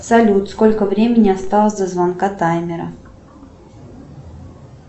салют сколько времени осталось до звонка таймера